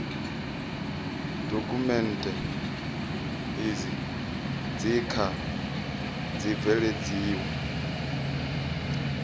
dokhumenthe izi dzi kha ḓi bveledziwa